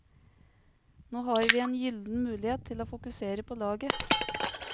Nå har vi en gylden mulighet til å fokusere på laget.